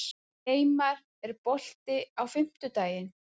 Geimar, er bolti á fimmtudaginn?